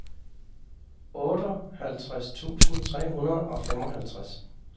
otteoghalvtreds tusind tre hundrede og femoghalvtreds